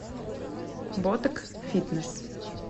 ботек фитнес